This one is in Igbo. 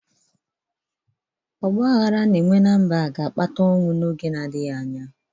Ọgba aghara a na-enwe ná mba ahụ ga-akpata ọnwụ n’oge na-adịghị anya